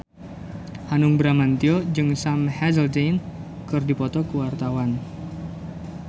Hanung Bramantyo jeung Sam Hazeldine keur dipoto ku wartawan